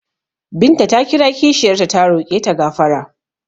Binta ta kira kishiyar ta ta roƙe ta gafara.